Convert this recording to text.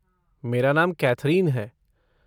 मेरा नाम कैथरिन है।